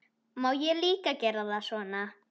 Má líka gera það svona